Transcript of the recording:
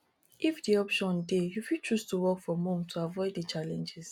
if di option dey you fit choose to work from home to avoid di challenges